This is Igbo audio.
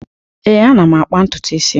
Ee, ana m akpa ntutu isi m.